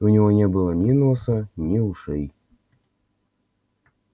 у него не было ни носа ни ушей